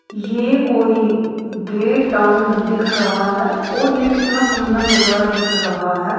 ये कोई गे टाउन दिख रहा है और ये कितना सुंदर नजारा दिख रहा है।